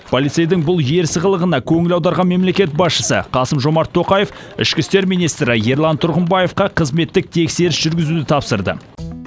полицейдің бұл ерсі қылығына көңіл аударған мемлекет басшысы қасым жомарт тоқаев ішкі істер министрі ерлан тұрғымбаевқа қызметтік тексеріс жүргізуді тапсырды